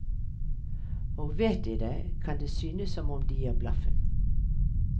Og vet de det, kan det synes som om de gir blaffen.